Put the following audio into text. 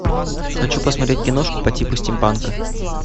хочу посмотреть киношку по типу стимпанка